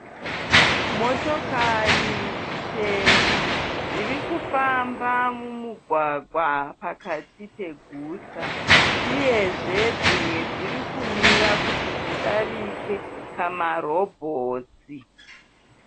Motokari chena dziri kufamba mumugwagwa pakati peguta uyezve dzimwe dziri kumira kuti dzidarike pamarobhoti.